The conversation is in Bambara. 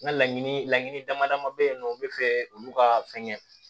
N ka laɲini laɲini damadama be yen nɔ u be fɛ olu ka fɛn kɛ